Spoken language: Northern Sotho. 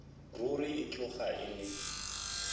ruri e tloga e le